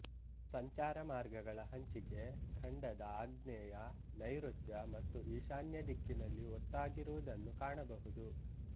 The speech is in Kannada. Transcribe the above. ಸಂಚಾರ ಮಾರ್ಗಗಳ ಹಂಚಿಕೆ ಖಂಡದ ಆಗ್ನೇಯ ನೈಋತ್ಯ ಮತ್ತು ಈಶಾನ್ಯ ದಿಕ್ಕಿನಲ್ಲಿ ಒತ್ತಾಗಿರುವುದನ್ನು ಕಾಣಬಹುದು